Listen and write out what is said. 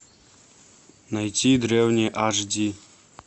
найти древние аш ди